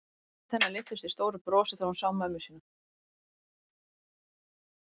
Andlit hennar lyftist í stóru brosi þegar hún sá mömmu sína.